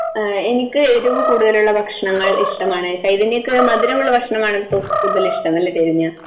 എനിക്ക് എരിവ് കൂടുതലുള്ള ഭക്ഷണങ്ങൾ ഇഷ്ടമാണ്. ചൈതന്യയ്ക്ക് മധുരമുള്ള ഭക്ഷണമാണ് കൂടുതൽ ഇഷ്ടം എന്ന് തോന്നുന്നു. അല്ലെ ചൈതന്യ?